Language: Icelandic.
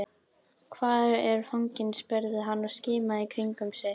Hvar er fanginn? spurði hann og skimaði í kringum sig.